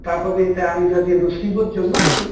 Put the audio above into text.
তাৰ প্ৰতি এটা আমি যদি ৰুচিবোধ জন্মাই দিওঁ